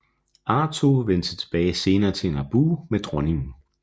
Artoo vendte senere tilbage til Naboo med dronningen